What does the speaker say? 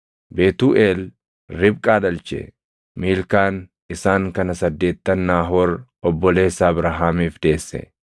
Betuuʼeel Ribqaa dhalche. Miilkaan isaan kana saddeettan Naahoor obboleessa Abrahaamiif deesse.